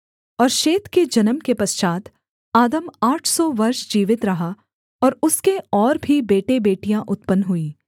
और शेत के जन्म के पश्चात् आदम आठ सौ वर्ष जीवित रहा और उसके और भी बेटेबेटियाँ उत्पन्न हुईं